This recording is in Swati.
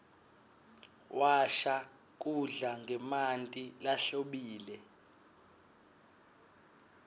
washa kudla ngemanti lahlobile